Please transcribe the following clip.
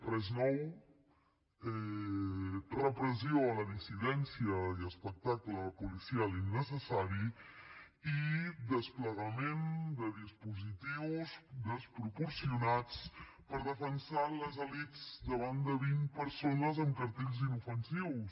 res nou repressió a la dissidència i espectacle policial innecessari i desplegament de dispositius desproporcionats per defensar les elits davant de vint persones amb cartells inofensius